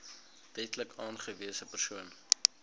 wetlik aangewese persoon